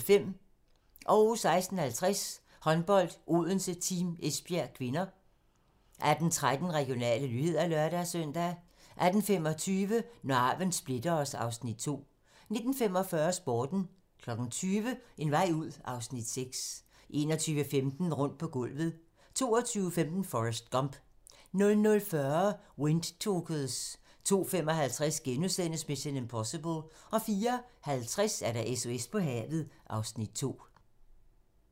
16:50: Håndbold: Odense-Team Esbjerg (k) 18:13: Regionale nyheder (lør-søn) 18:25: Når arven splitter os (Afs. 2) 19:45: Sporten 20:00: En vej ud (Afs. 6) 21:15: Rundt på gulvet 22:15: Forrest Gump 00:40: Windtalkers 02:55: Mission: Impossible * 04:50: SOS på havet (Afs. 2)